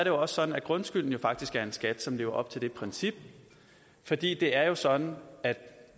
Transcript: jo også sådan at grundskylden faktisk er en skat som lever op til det princip fordi det er sådan at